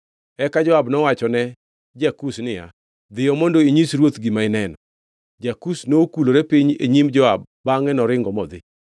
Eka Joab nowachone ja-Kush niya, “Dhiyo mondo inyis ruoth gima ineno.” Ja-Kush nokulore piny e nyim Joab bangʼe noringo modhi.